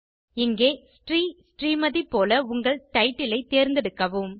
இங்கே ஷ்ரீ ஸ்மட் போல உங்கள் டைட்டில் ஐ தேர்ந்தெடுக்கவும்